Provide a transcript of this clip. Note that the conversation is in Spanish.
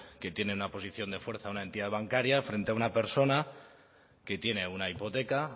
que tiene una posición de fuerza una entidad bancaria frente a una persona que tiene una hipoteca